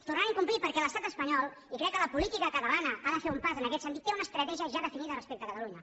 tornaran a incomplir perquè l’estat espanyol i crec que la política catalana ha de fer un pas en aquest sentit té una estratègia ja definida respecte a catalunya